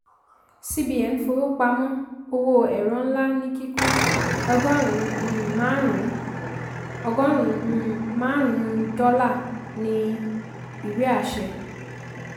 cbn fowópamọ́ owó ẹ̀rọ ńlá ní kíkún ọgọ́rùn-ún márùn-ún ọgọ́rùn-ún márùn-ún dọ́là ní um ìwé àṣẹ.